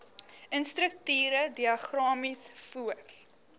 strukture diagramaties voor